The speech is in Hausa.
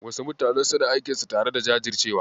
Wasu mutanen suna aikinsu tare da jajircewa.